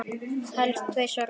Helst tvisvar á dag.